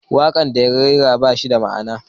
Waƙar da ya rera ba ta da ma'ana.